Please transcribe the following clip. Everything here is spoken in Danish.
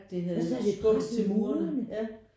Så havde det skubbet til murene?